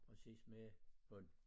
Præcis med hånd?